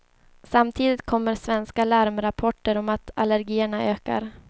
Samtidigt kommer svenska larmrapporter om att allergierna ökar.